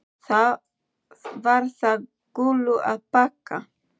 Var það Gullu að þakka.